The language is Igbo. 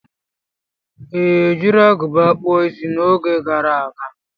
Ị ejiri agụba kpuo Ịsị n'oge gara aga?